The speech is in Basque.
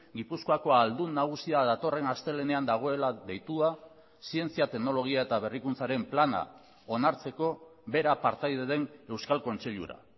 gipuzkoako ahaldun nagusia datorren astelehenean dagoela deitua zientzia teknologia eta berrikuntzaren plana onartzeko bera partaide den euskal kontseilura